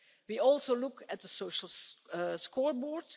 We also look at the social scoreboard.